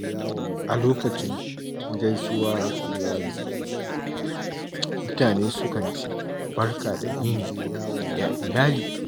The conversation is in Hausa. A lokacin gaisuwar iyali, mutane sukan ce “Barka da yini, ya iyali?”